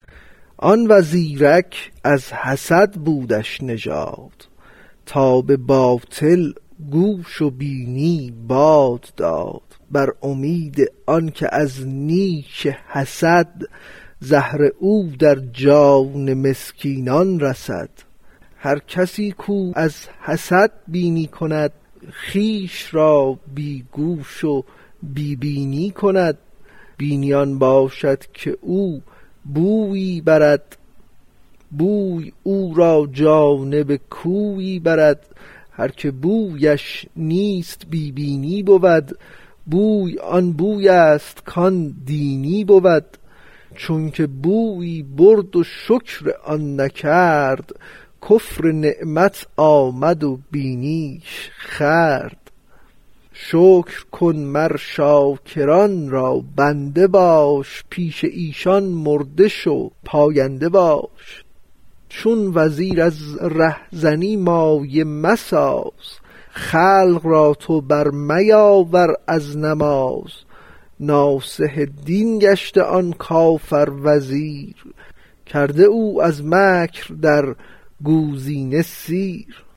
آن وزیرک از حسد بودش نژاد تا به باطل گوش و بینی باد داد بر امید آنک از نیش حسد زهر او در جان مسکینان رسد هر کسی کو از حسد بینی کند خویش را بی گوش و بی بینی کند بینی آن باشد که او بویی برد بوی او را جانب کویی برد هر که بویش نیست بی بینی بود بوی آن بویست کان دینی بود چونک بویی برد و شکر آن نکرد کفر نعمت آمد و بینیش خورد شکر کن مر شاکران را بنده باش پیش ایشان مرده شو پاینده باش چون وزیر از ره زنی مایه مساز خلق را تو بر میاور از نماز ناصح دین گشته آن کافر وزیر کرده او از مکر در گوزینه سیر